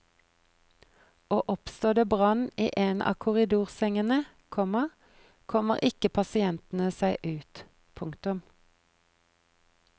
Og oppstår det brann i en av korridorsengene, komma kommer ikke pasientene seg ut. punktum